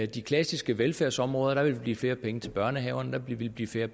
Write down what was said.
de klassiske velfærdsområder der ville blive flere penge til børnehaverne der ville blive flere